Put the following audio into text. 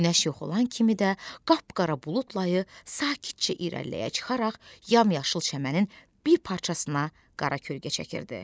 Günəş yox olan kimi də qapqara bulud layı sakitcə irəliləyə çıxaraq yamyaşıl çəmənin bir parçasına qara kölgə çəkirdi.